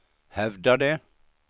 hävdade